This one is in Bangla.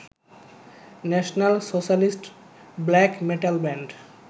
national socialist black metal band